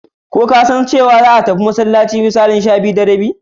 Ko kasan za a tafi masallaci da misalin 12:30?